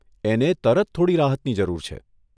એને તરત થોડી રાહતની જરૂર છે.